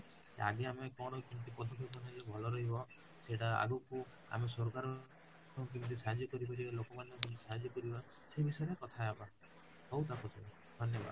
କେ ଆଗେ ଆମେ କେମିତି ନେଲେ ଭଲ ରହିବ ସେଟ ଆଗକୁ ଆମେ ସରକାର କେମିତ ସାହାଯ୍ୟ କରିପାରିବେ ଲୋମନକୁକେମିତି ସାହାଯ୍ୟ କରି ପରିବା ସେଇ ବିଷୟରେ କଥା ହେବା, ହଉ ତାପସ ଭାଇ ଧନ୍ୟବାଦ